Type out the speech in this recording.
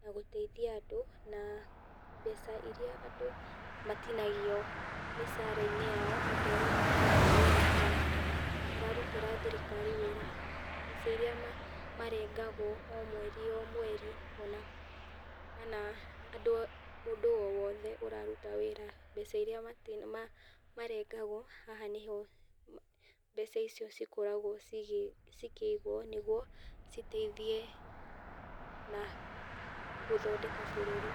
na gũteithia andũ, mbeca iria andũ matinagio mĩcara-inĩ yao, andũ arĩa mararuta wĩra kwa, mararutĩra thirikari wĩra mbeca iria marengagwo omweri omweri , ona mũndũ o wothe ũraruta wĩra, mbeca iria ma mati marengagwo haha nĩho mbeca icio cikoragwo cikĩigwo, citeithie na gũthondeka bũrũri.